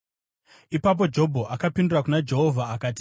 Ipapo Jobho akapindura kuna Jehovha akati: